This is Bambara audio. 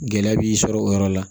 Gɛlɛya b'i sɔrɔ o yɔrɔ la